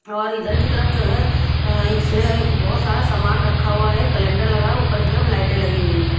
और इधर की तरफ जो है एक सेह बहुत सारा सामान रखा हुआ है कैलेंडर लगा है ऊपर की तरफ लाइटें लगी हुई हैं।